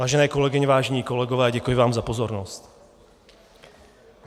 Vážené kolegyně, vážení kolegové, děkuji vám za pozornost.